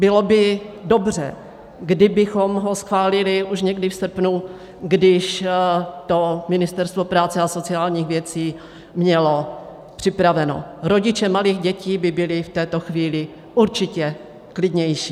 Bylo by dobře, kdybychom ho schválili už někdy v srpnu, když to Ministerstvo práce a sociálních věci mělo připraveno, rodiče malých dětí by byly v této chvíli určitě klidnější.